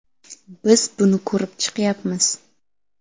Biz buni ko‘rib chiqyapmiz.